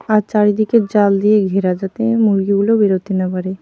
আর চারিদিকে জাল দিয়ে ঘেরা যাতে মুরগিগুলো বেরোতে না পারে।